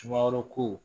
Sumaworo kow